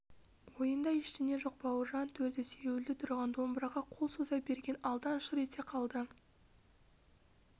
ойында ештеңе жоқ бауыржан төрде сүйеулі тұрған домбыраға қол соза берген алдан шыр ете қалды